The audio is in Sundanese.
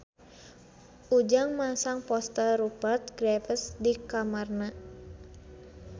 Ujang masang poster Rupert Graves di kamarna